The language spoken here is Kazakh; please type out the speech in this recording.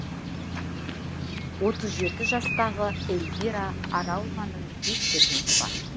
отыз жеті жастағы эльвира аралованың бес перзенті бар